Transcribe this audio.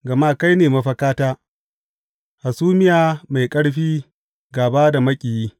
Gama kai ne mafakata, hasumiya mai ƙarfi gāba da maƙiyi.